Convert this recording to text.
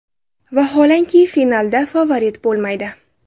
Vaholanki finalda favorit bo‘lmaydi.